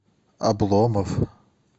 обломов